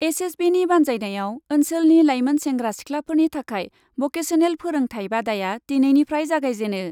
एसएसबिनि बान्जायनायाव ओन्सोलनि लाइमोन सेंग्रा सिखलाफोरनि थाखाय बकेसनेल फोरोंथाय बादाया दिनैनिफ्राय जागायजेनो ।